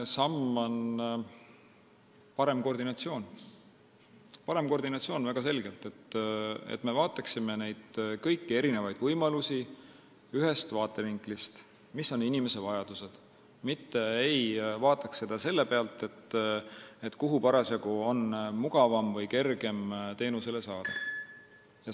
Esimene samm on parem koordinatsioon, väga selgelt, et me vaataksime kõiki võimalusi ühest vaatevinklist, sellest, millised on inimese vajadused, mitte ei vaataks selle põhjal, kus parasjagu on mugavam või kergem teenust saada.